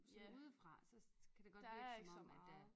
Sådan udefra så kan det godt virke som om at der